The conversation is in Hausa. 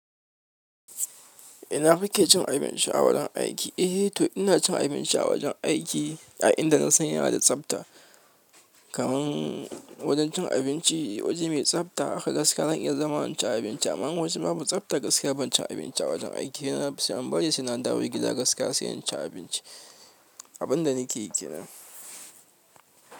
Ina kike cin abinci a wajen aiki? Eh, to ina cin abinci a wajen aiki a inda na san yana da tsafta. Kaman wajen cin abinci, waje mai tsafta haka gaskiya zan iya zama in cin abinci. Amma in waje babu tsafta gaskiya bancin abinci a wajen aiki. Ni da nafi son in bari sai na dawowa gida gaskiya sai in ci abinci. Abun da nake yi kenan.